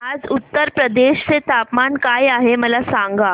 आज उत्तर प्रदेश चे तापमान काय आहे मला सांगा